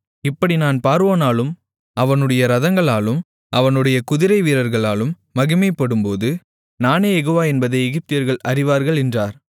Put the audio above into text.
இப்படி நான் பார்வோனாலும் அவனுடைய இரதங்களாலும் அவனுடைய குதிரைவீரர்களாலும் மகிமைப்படும்போது நானே யெகோவா என்பதை எகிப்தியர்கள் அறிவார்கள் என்றார்